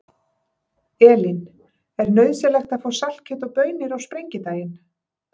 Elín: Er nauðsynlegt að fá saltkjöt og baunir á Sprengidaginn?